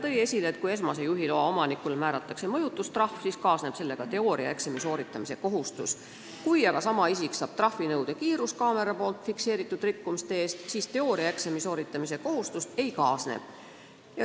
Ta tõi esile, et kui esmase juhiloa omanikule määratakse mõjutustrahv, siis kaasneb sellega teooriaeksami sooritamise kohustus, kui aga sama isik saab trahvinõude kiiruskaameraga fikseeritud rikkumise eest, siis teooriaeksami tegemise kohustust ei kaasne.